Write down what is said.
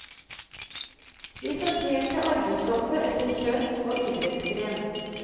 Vi sorterte arvestoffet etter kjønn og idrettsgren.